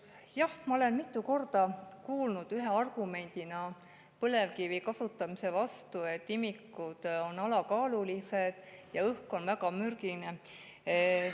Jah, ma olen mitu korda kuulnud ühe argumendina põlevkivi kasutamise vastu seda, et imikud on seal alakaalulised ja õhk on väga mürgine.